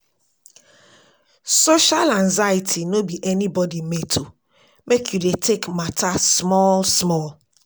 Social anxiety no be anybodi mate o, make you dey take mata small-small.